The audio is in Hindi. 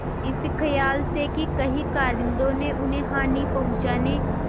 इस खयाल से कि कहीं कारिंदों ने उन्हें हानि पहुँचाने